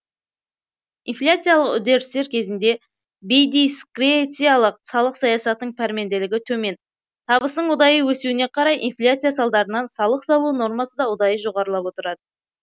инфляциялық үдерістер кезінде бейдискрециялық салық саясатының пәрменділігі төмен табыстың ұдайы өсуіне қарай инфляция салдарынан салық салу нормасы да ұдайы жоғарылап отырады